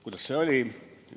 Kuidas see oli?